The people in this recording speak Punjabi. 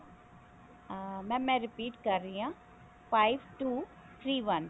ਅਮ mam ਮੈਂ repeat ਕਰ ਰਹੀ ਹਾਂ five two three one